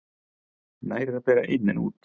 Nær er að bera inn en út.